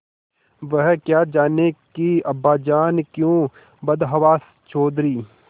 वह क्या जानें कि अब्बाजान क्यों बदहवास चौधरी